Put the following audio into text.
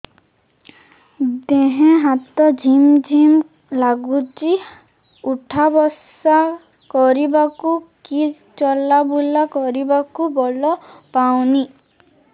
ଦେହେ ହାତ ଝିମ୍ ଝିମ୍ ଲାଗୁଚି ଉଠା ବସା କରିବାକୁ କି ଚଲା ବୁଲା କରିବାକୁ ବଳ ପାଉନି